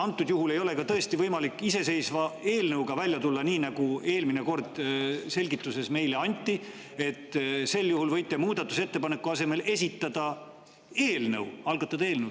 Antud juhul ei ole tõesti võimalik ka iseseisva eelnõuga välja tulla, nii nagu eelmine kord meile selgitus anti, et võite muudatusettepaneku asemel esitada eelnõu, algatada eelnõu.